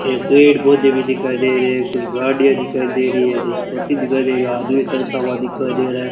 ये पेड़ पौधे भी दिखाई दे रहे हैं कुछ गाड़ियां दिखाई दे रही है तो स्कूटी दिखाई दे रहा आदमी चलता हुआ दिखाई दे रहा है।